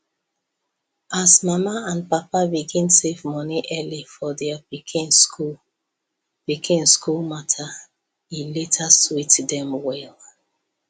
as mama and papa begin save money early for their pikin school pikin school matter e later sweet them well